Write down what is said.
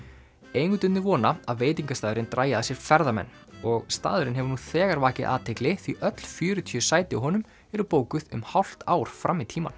eigendurnir vona að veitingastaðurinn dragi að sér ferðamenn og staðurinn hefur nú þegar vakið athygli því öll fjörutíu sætin á honum eru bókuð um hálft ár fram í tímann